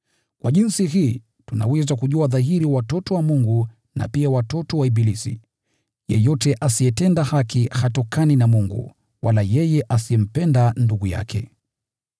Kwa jinsi hii tunaweza kujua dhahiri watoto wa Mungu na pia watoto wa ibilisi. Yeyote asiyetenda haki hatokani na Mungu, wala yeye asiyempenda ndugu yake.